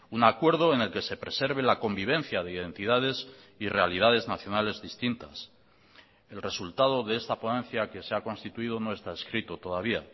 un acuerdo en el que se preserve la convivencia de identidades y realidades nacionales distintas el resultado de esta ponencia que se ha constituido no está escrito todavía